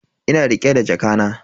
Ina rike da jakana.